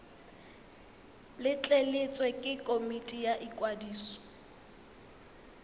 letleletswe ke komiti ya ikwadiso